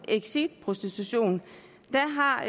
exit prostitution der har